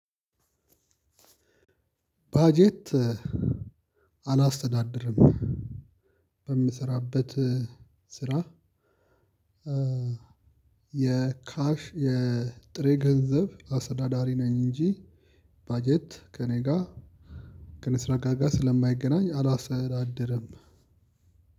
በጀት አላስተዳድርም በምሰራበት ስራ የካሽ የጥሬ ገንዘብ አሰዳዳሪ ነኝ። እንጂ በጀት ከእኔ ጋር ከኔስራ ጋር ጋር ስለማይገናኝ አላሰተዳድርም።